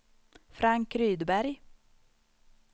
Frank Rydberg